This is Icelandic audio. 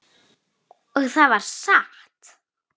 Og það var satt.